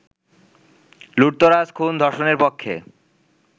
লুঠতরাজ-খুন-ধর্ষণের পক্ষে